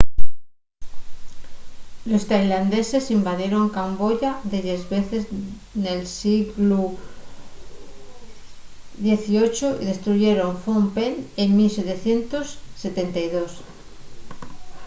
los tailandeses invadieron camboya delles veces nel sieglu xviii y destruyeron phnom penh en 1772